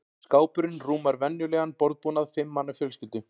Skápurinn rúmar venjulegan borðbúnað fimm manna fjölskyldu.